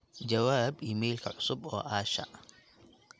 jawaab iimaylka cusub oo asha